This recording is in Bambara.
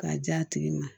K'a di a tigi ma